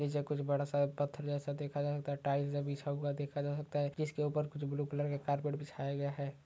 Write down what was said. नीचे कुछ बड़ा सा एक पत्थर जैसा देखा जा सकता है टाइल्स है बिछा हुआ जा सकता है जिसके कुछ ऊपर ब्लू कलर के कार्पेट बिछाया गया है।